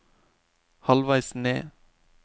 halvveis ned